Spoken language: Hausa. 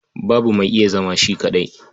Babu mai iya zama shi kaɗai.